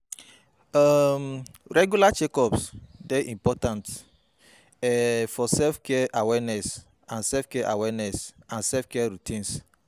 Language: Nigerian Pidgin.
um Regular check-ups dey important um for self-care awareness and self-care awareness and self-care routines.